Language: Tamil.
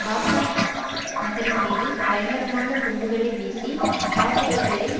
பாக்நாத் நகரின் மீது பயங்கரமான குண்டுகளை வீசி தாக்குதல்களை